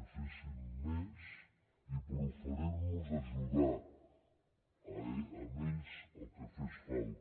que fessin més i per oferir nos a ajudar los al que fes falta